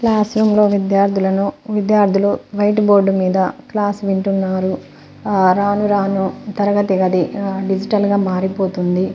Classroom లో విద్యార్థులను విద్యార్థులు వైటు బోర్డు మీద క్లాస్ వింటున్నారు రాను రాను తరగతి గది డిజిటల్ గా మారిపోతుంది.